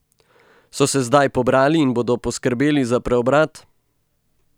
So se zdaj pobrali in bodo poskrbeli za preobrat?